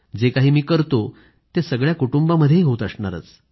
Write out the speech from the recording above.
जे काही मी करतो ते सगळ्या कुटुंबामध्येही होत असणारच